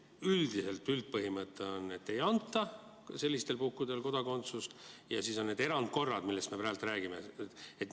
Üldpõhimõte on, et sellistel puhkudel ei anta kodakondsust, ja siis on need erandkorrad, millest me praegu räägime.